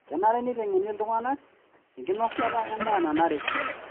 Kenare neitengeni iltungana enkinosata endaa nanare.